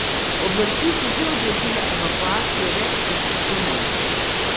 Oblasti so že odredile evakuacijo več tisoč domov.